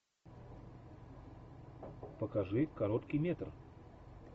покажи короткий метр